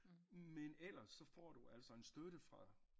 Men ellers så får du altså en støtte fra